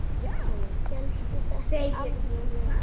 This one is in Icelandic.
Hélstu þetta í alvöru?